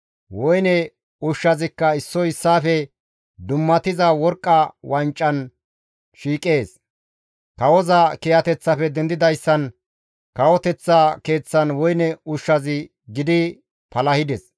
Woyne ushshazikka issoy issaafe dummatiza worqqa wancan shiiqees. Kawoza kiyateththafe dendidayssan kawoteththa keeththan woyne ushshazi gidi palahides.